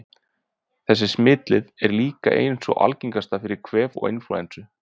Þessi smitleið er líka ein sú algengasta fyrir kvef og inflúensu.